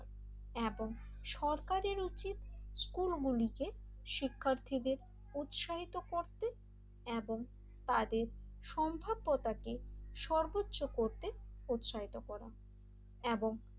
এবং সরকারের উচিত স্কুলগুলিতে শিক্ষার্থীদের উৎসাহিত করতে এবং তাদের সম্ভাব্যতাকে সর্বোচ্চ করতে উৎসাহিত করা এবং,